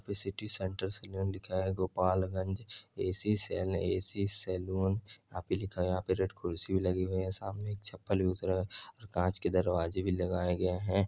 यहा पे city centre saloon लिखा है Gopalganj A. C. Sen A. C. Saloon यहा पे लिखा हुआ है यहा पे रेड कुर्सी भी लगी हुए है सामने एक चप्पल भी उतरा है और कांच के दरवाजे भी लगाया गया है।